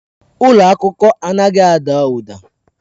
Ụlọ akụkọ anaghị ada ụda.